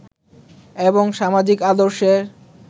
এবং সামাজিক আদর্শের